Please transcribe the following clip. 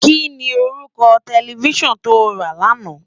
Kini órúkò tèlèfisán tó rá làná?